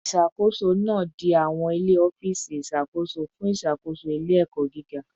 Isakoso naa di awọn ile ọfiisi iṣakoso fun iṣakoso ile-ẹkọ giga